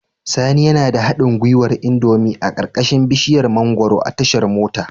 Sani yana da haɗin gwiwar indomie a ƙarƙashin bishiyar mangwaro a tashar mota